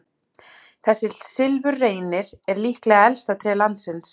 Þessi silfurreynir er líklega elsta tré landsins.